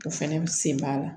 O fɛnɛ sen b'a la